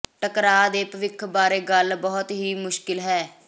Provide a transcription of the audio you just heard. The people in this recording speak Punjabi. ਟਕਰਾਅ ਦੇ ਭਵਿੱਖ ਬਾਰੇ ਗੱਲ ਬਹੁਤ ਹੀ ਮੁਸ਼ਕਲ ਹੈ